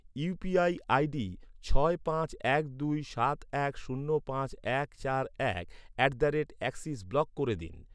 UPI ID ছয় পাঁচ এক দুই সাত এক শূন্য পাঁচ এক চার এক at the rate axis block করে দিন